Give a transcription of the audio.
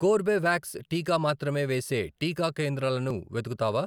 Corbevax టీకా మాత్రమే వేసే టీకా కేంద్రాలను వెతుకుతావా?